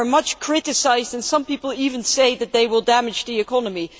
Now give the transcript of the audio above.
They are much criticised, and some people even say that they will damage the economy.